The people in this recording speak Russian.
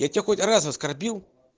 я тебя хоть раз оскорбил